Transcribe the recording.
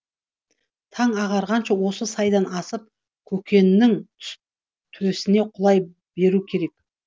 таң ағарғанша осы сайдан асып көкеннің төсіне құлай беру керек